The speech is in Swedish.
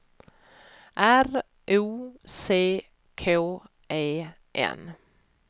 R O C K E N